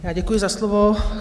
Já děkuju za slovo.